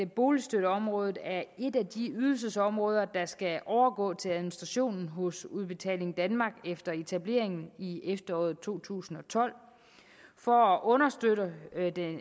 boligstøtteområdet er et af de ydelsesområder der skal overgå til administrationen hos udbetaling danmark efter etableringen i efteråret to tusind og tolv for at understøtte